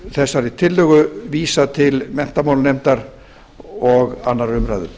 þessari tillögu vísað til menntamálanefndar og annarrar umræðu